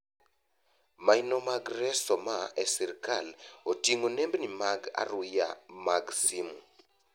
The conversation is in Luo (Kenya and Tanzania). Maino mag reso maa e sirkal oting’o nembni mag aruya mag simu.